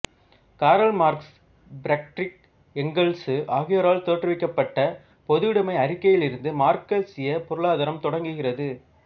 காரல் Marx Friedrich Engels ஆகியோரால் தோற்றுவிக்கப்பட்ட பொதுவுடைமை அறிக்கையிலிருந்து மார்க்சியப் பொருளாதாரம் தொடங்குகிறது